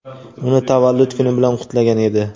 uni tavallud kuni bilan qutlagan edi.